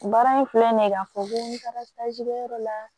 Baara in filɛ nin ye k'a fɔ ko n taara kɛyɔrɔ la